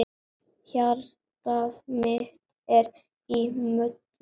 Hjartað mitt er í molum.